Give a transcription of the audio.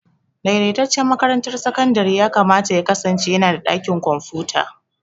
Daidaitaccen makarantar sakandare yakamata ya kasance yana da ɗakin kwamfuta.